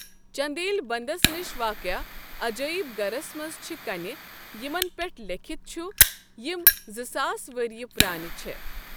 چندیل بنٛدس نش واقع عجٲیب گرس منٛز چھ کنہ یمن پٮ۪ٹھ لیٚکھتھ چھ یم زٕ ساس ؤرۍیہ پرٛانہ چھےٚ۔